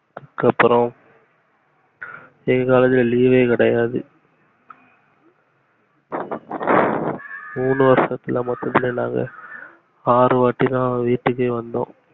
அதுக்கு அப்பறம் எங்க காலேஜ்ல leave யே கிடையாது மூனு வருஷத்துல நாங்க ஆருவாட்டிதா வீட்டுகே வந்தோம்